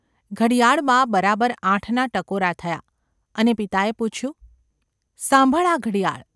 ઘડિયાળમાં બરાબર આઠના ટકોરા થયા અને પિતાએ પૂછ્યું ‘અમર ! સાંભળ આ ઘડિયાળ.